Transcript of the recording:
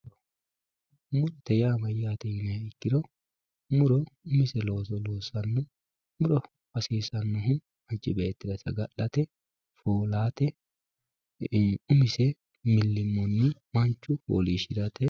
Muro yaa mayate yiniha ikiro muro hasisanohu manchi beetira saga`late foolate umise milimono manchu foolate.